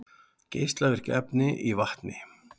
Geislavirk efni í vatni